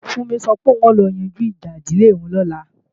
Fúnmi sọ pé òun ó lọ yanjú ìjà ìdílé òun lọ́la